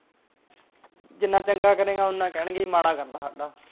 ਜਿੰਨਾ ਚੰਗਾ ਕਰੇਗਾ ਓਨਾ ਕਹਿਣਗੇ ਕਿ ਮਾੜਾ ਕਰਦਾ